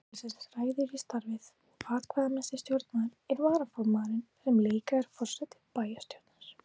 Stjórn félagsins ræður í starfið og atkvæðamesti stjórnarmaður er varaformaðurinn sem líka er forseti bæjarstjórnar.